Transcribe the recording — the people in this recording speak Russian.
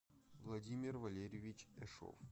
владимир валерьевич эшов